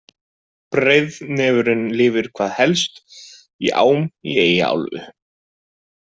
Breiðnefurinn lifir hvað helst í ám í Eyjaálfu.